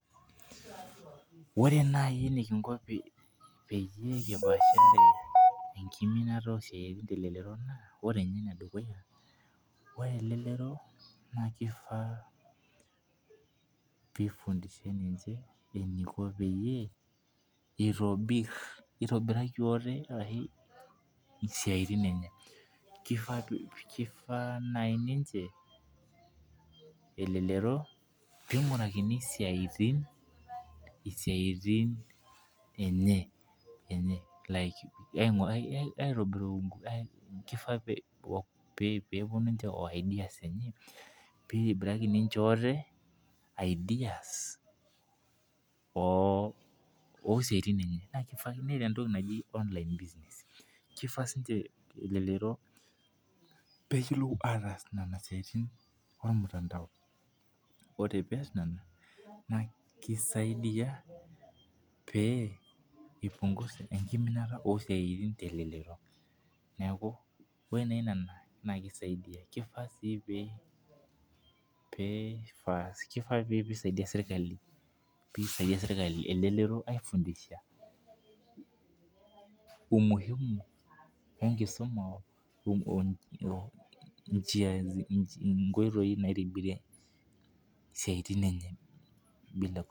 Ore naji enikingo pee kipishare enkiminata oo siatin te lelelro naa ore jinye ene dukuya ore elelero naa keifaa pee eifundishai ninche eniko pee ituborika atee isiatin nenye kifaa naji elelero pee ingirakini isiantin enye like aituburo keifaa pee epuonu ninche oo ideas enye pee it obir ninche ideas oo siatin enye naa keifaa pee eta entoki naji online business keifaa sii ninche elelero pee eyiolou ataas nena siatin ormutandao ore pees nenaa na kisaidia enkiminata oo siatin te lelero neeku ore naa nena naa keisaidia keifaa sii pee ifaa pee isadia serikali pee elelero aigundisha umihimu ee nkisuma oo njia nkoitoi naitobirie esiatin enye.